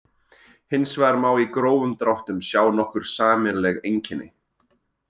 Hins vegar má í grófum dráttum sjá nokkur sameiginleg einkenni.